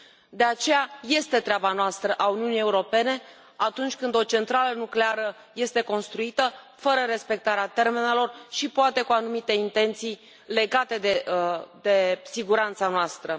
De aceea, este treaba noastră, a Uniunii Europene, atunci când o centrală nucleară este construită fără respectarea termenelor și, poate, cu anumite intenții legate de siguranța noastră.